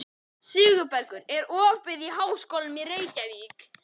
Sigurbergur, er opið í Háskólanum í Reykjavík?